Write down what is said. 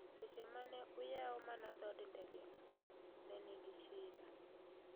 Seche mane oyau mana dhod ndege no, ne ni gi shida